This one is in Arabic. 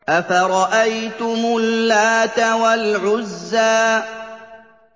أَفَرَأَيْتُمُ اللَّاتَ وَالْعُزَّىٰ